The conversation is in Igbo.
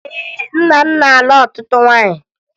Ee, nna m na-alụ ọtụtụ nwaanyị